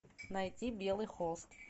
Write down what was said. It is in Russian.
найти белый холст